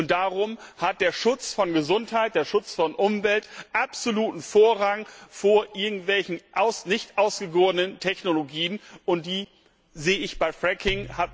Und darum hat der Schutz von Gesundheit und Umwelt absoluten Vorrang vor irgendwelchen nicht ausgegorenen Technologien, und die sehe ich bei Fracking.